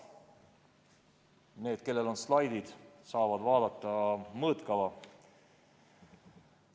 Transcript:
Need, kellel on slaidid, saavad vaadata mõõtkava.